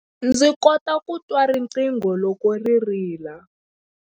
Ndzi kota ku twa riqingho loko ri rila.